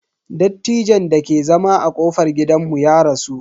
Dattijon dake zama a kofar gidanmu ya rasu.